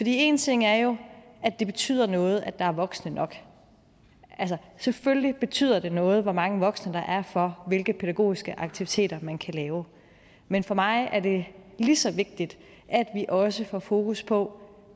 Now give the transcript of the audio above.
en ting er jo at det betyder noget at der er voksne nok altså selvfølgelig betyder det noget hvor mange voksne der er for hvilke pædagogiske aktiviteter man kan lave men for mig er det lige så vigtigt at vi også får fokus på